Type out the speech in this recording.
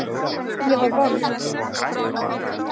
Ég var vond.